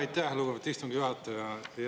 Aitäh, lugupeetud istungi juhataja!